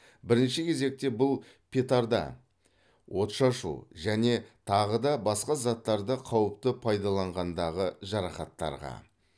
бірінші кезекте бұл петарда отшашу және тағы да басқа заттарды қауіпті пайдаланғандағы жарақаттарға